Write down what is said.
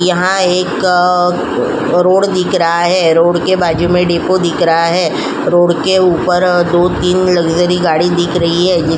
यहां एक अअ रोड दिख रहा है। रोड के बाजू में डिपो दिख रहा है। रोड के ऊपर अ दो तीन लग्जरी गाड़ी दिख रही है। जि --